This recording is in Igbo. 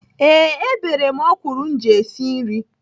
Ee, ebere m ọkwụrụ m ji esi nri.